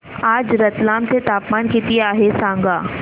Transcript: आज रतलाम चे तापमान किती आहे सांगा